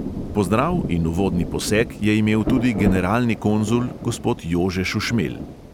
Pozdrav in uvodni poseg je imel tudi generalni konzul gospod jože šušmelj.